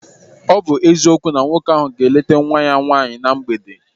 Ọ bụ eziokwu na nwoke ahụ ga-leeta nwa ya nwaanyị na mgbede.